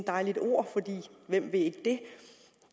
dejligt ord for hvem vil ikke det